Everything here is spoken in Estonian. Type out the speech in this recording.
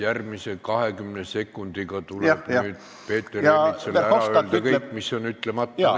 Järgmise 20 sekundiga tuleb Peeter Ernitsal ära öelda kõik, mis veel ütlemata jäi.